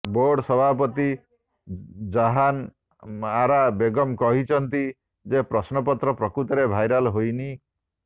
board ସଭାପତି ଜାହାନ ଆରା ବେଗମ କହିଛନ୍ତି ଯେ ପ୍ରଶ୍ନପତ୍ର ପ୍ରକୃତରେ ଭାଇରାଲ ହୋଇନି